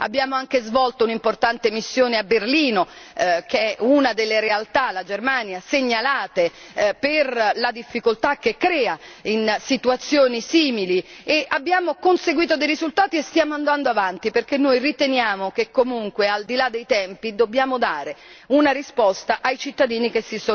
Abbiamo anche svolto un'importante missione a Berlino, che è una delle realtà, la Germania, segnalate per le difficoltà che crea in situazioni simili, e abbiamo conseguito dei risultati e stiamo andando avanti, perché riteniamo che comunque, al di là dei tempi, dobbiamo dare una risposta ai cittadini che